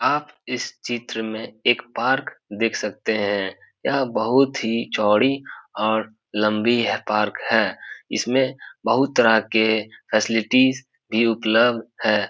आप इस चित्र में एक पार्क देख सकते हैं यह बहुत ही चौड़ी और लंबी है पार्क है इसमें बहुत तरह के फैसेलिटीज भी उपलब्ध है।